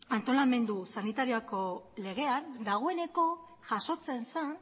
antolamendu sanitarioko legean dagoeneko jasotzen zen